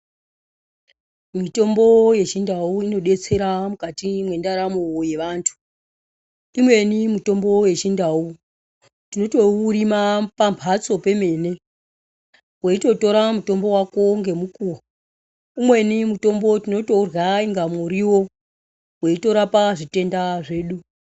Mitombo yechindau inodetsera mukati mwendaramo yevantu, imweni mitombo yechindau tinotoirima pambatso pemene weitotora mutombo wako ngemukuwo umweni mutombo tinotourya inga muriwo weitorapa zvitenda zvedu.